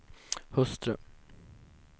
hustru